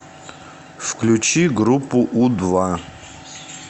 включи группу у два